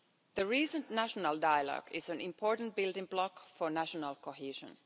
The recent national dialogue is an important building block for national cohesion.